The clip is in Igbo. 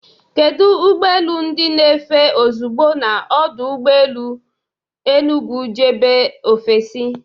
Kedu ụgbọ elu ndị na-efe ozugbo na ọdụ ụgbọ elu Enugu jebe ofesi?